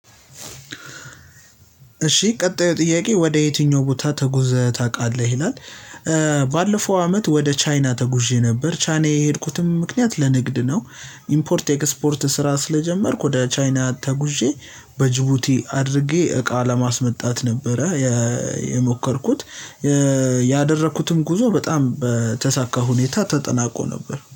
እሺ ቀጣዩ ጥያቄ ወደ የትኛው ቦታ ተጉዘህ ታቃለህ ይላል? ባለፈው አመት ወደ ቻይና ተጉዤ ነበር ቻይና የሄድኩትም ምክንያት ለንግድ ነው። ኢምፖርት ኤክስፖርት ስራ ስለጀመርኩ ወደ ቻይና ተጉዤ በጅቡቲ አድርጌ እቃ ለማስመጣት ነበረ። የሞከርኩት ያደረኩትም ጉዞ በጣም በተሳካ ሁኔታ ተጠናቆ ነበር